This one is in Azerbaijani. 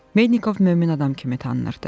Mednikov mömin adam kimi tanınırdı.